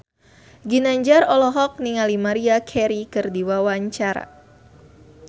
Ginanjar olohok ningali Maria Carey keur diwawancara